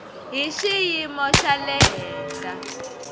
hi xiyimo xa le henhla